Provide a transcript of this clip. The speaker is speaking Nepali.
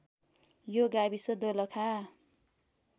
यो गाविस दोलखा